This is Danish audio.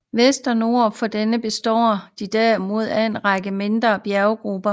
Vest og nord for denne består de derimod af en række mindre bjerggrupper